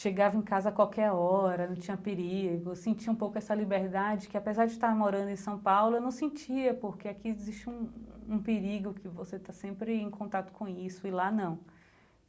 chegava em casa qualquer hora, não tinha perigo, sentia um pouco essa liberdade que apesar de estar morando em São Paulo, eu não sentia, porque aqui existe um um perigo que você está sempre em contato com isso e lá não.